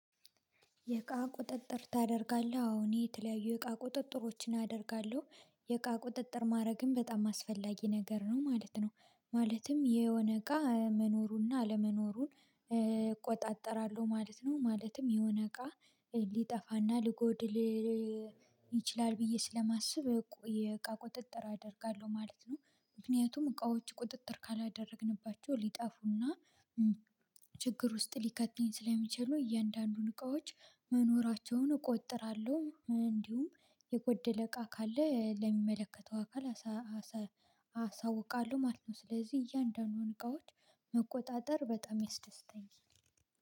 የቃ ቁጥጥር ታደርጋለህ አሁን የተለያዩ የቃ ቁጥጥሮችን አደርጋለሁ የቃ ቁጥጥር ማድረግም በጣም አስፈላጊ ነገር ነው ማለት ነው። ማለትም የሆነ እቃ መኖሩንና አለመኖሩን እቆጣጠራለሁ ማለት ነው። ማለትም የሆነ እቃ ሊጠፋና ሊጎድል ይችላል ብዬ ስለማስብ የእቃ ቁጥጥር አደርጋለሁ ማለት ነው። ምክንያቱም እቃዎች ቁጥጥር ካላደረግንባቸው ሊጠፉና ችግር ውስጥ ሊከተኝ ስለሚችሉ እያንዳንዱን እቃዎች መኖራቸውን እቆጥራለሁ እንዲሁም የጎደለ እቃ ካለ ለሚመለከተው አካል አሰ አሳውቃለሁ ማለት ነው። ስለዚህ እያንዳንዱን እቃዎች መቆጣጠር በጣም ይስደስተኛል